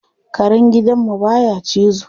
Karen gidan mu baya cizo.